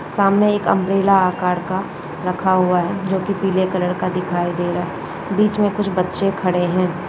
सामने एक उंब्रेल्ला आकर का रखा हुआ हैं जो कि पीले कलर का दिखाई दे रहा हैं बीच में कुछ बच्चे खड़े हैं।